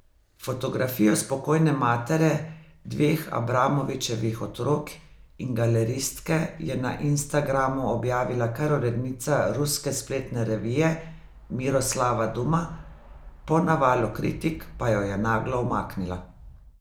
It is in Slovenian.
Fotografijo spokojne matere dveh Abramovičevih otrok in galeristke je na Instagramu objavila kar urednica ruske spletne revije Miroslava Duma, po navalu kritik pa jo je naglo umaknila.